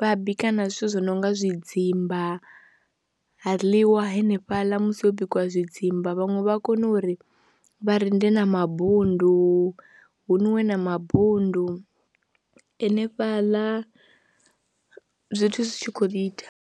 vha bika na zwithu zwi no nga zwidzimba ha ḽiwa hanefhaḽa musi ho bikiwa zwidzimba. Vhaṅwe vha kone uri vha rinde na mabundu hu nwiwe na mabundu hanefhaḽa zwithu zwi tshi khou ḓi ita.